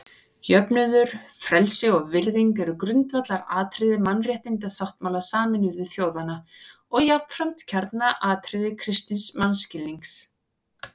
Jöfnuður, frelsi og virðing eru grundvallaratriði Mannréttindasáttmála Sameinuðu þjóðanna og jafnframt kjarnaatriði kristins mannskilnings.